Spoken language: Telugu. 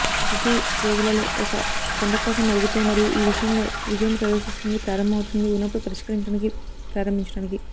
శిశువు రోజులో ఒక కుండ కోసం అడుగుతూ మరియు ఈ విషయంలో విజయం ప్రదర్శిస్తుంది ప్రారంభమవుతుంది ఉన్నప్పుడు పరిష్కరించడానికి ప్రారంభించడానికి